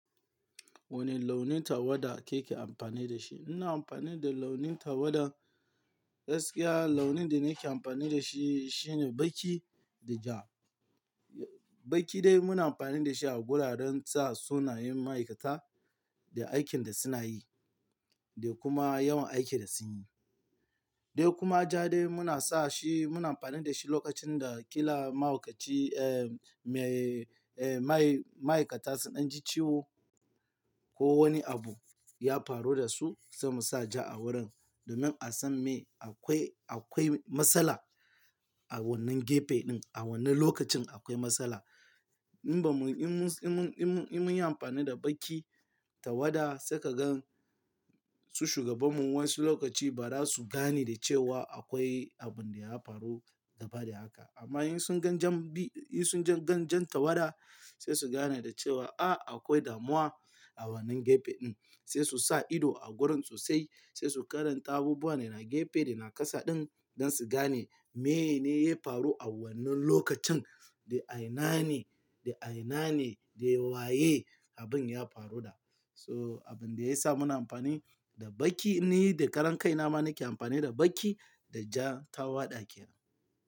Wane launin tawada kike amfani da shi? Ina amfani da launin tawada, gaskiya launin da nake amfani da shi shine baƙi da ja. Baƙi dai muna amfani da shi a guraren sa sunayen ma'aikata da aikin da suna yi da kuma yawan aikin da sun yi. Dai kuma ja dai muna sa shi, muna amfani da shi lokacin da ƙila mahaukaci, eh, me, eh, ma-ma'aikata sun ɗan ji ciwo. Ko wani abu ya faru da su, sai mu sa ja a wurin domin a san me akwai, akwai matsala. A wannan gefe ɗin, a wannan lokacin akwai matsala. In ba mu, in mun, in mun, in mun yi amfani da baƙi, tawada saika gan su shugabanmu wasu lokaci ba za su gane da cewa akwai abun da ya faru gaba da haka. Amma in sun gan jan biyu, in sun gan jan tawada, sai su gane da cewa, "Ah, akwai damuwa a wannan gefe ɗin." Sai su sa ido a gurin sosai sai su karanta abubuwan da na gefe da na ƙasa ɗin don su gane mene ne ya faru a wannan lokacin da'a ina ne, da'a ina ne, da waye abin ya faru da. To abin da ya sa muna amfani da baƙi ne da karen kai na ma nake amfani da baƙi da ja tawada ke.